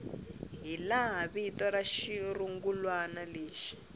hilaha vito ra xirungulwana lexi